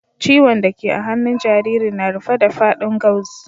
Ciwon' da ke a hannun jaririn na rufe da fadin gauze.